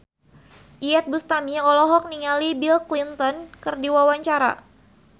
Iyeth Bustami olohok ningali Bill Clinton keur diwawancara